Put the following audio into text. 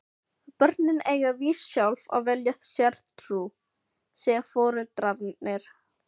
Börnin eiga víst sjálf að velja sér trú, segja foreldrarnir.